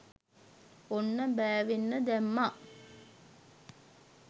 ඔන්න බෑවෙන්න දැම්මා